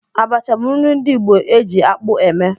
Abacha bụ nri ndị Igbo ji ji-akpụ eme.